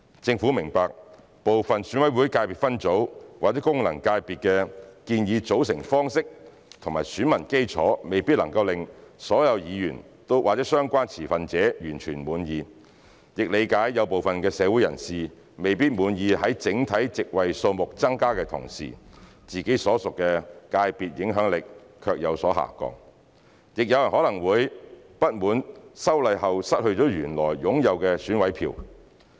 政府明白，部分選委會界別分組/功能界別的建議組成方式及選民基礎未必能令所有議員和相關持份者完全滿意，亦理解部分社會人士未必滿意在整體席位數目增加的同時，自己所屬的界別影響力卻有所下降；亦有人可能會不滿修例後失去了原來擁有的選委票。